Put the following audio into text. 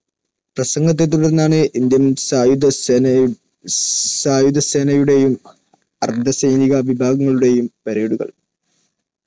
പ്രസംഗത്തെത്തുടർന്നാണ് Indian സായുധ സേനയുടെയും അർദ്ധസൈനിക വിഭാഗങ്ങളുടെയും Parade കൾ.